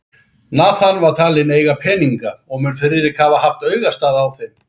Nathan var talinn eiga peninga, og mun Friðrik hafa haft augastað á þeim.